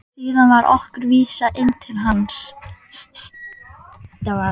Síðan var okkur vísað inn til hans.